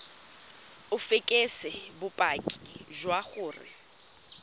o fekese bopaki jwa gore